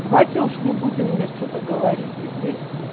давайте уж не будем мне что-то говорить